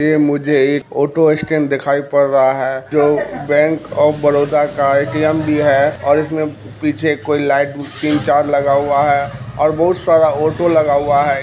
ये मुझे एक ऑटो स्टैंड दिखाई पड़ रहा है जो बैंक ऑफ़ बरोड़ा का ए.टी.एम भी है और इसमे पीछे कोई लाइट तीन चार लगा हुआ हैं और बहुत सारा ऑटो लगा हुआ हैं।